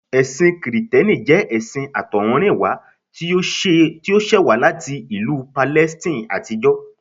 Ẹ̀sìn kìrìtẹ́nì jẹ́ ẹṣin àtọ̀húnrìnwá tí ó ṣẹ̀ wá láti ìlú Palestine àtijọ́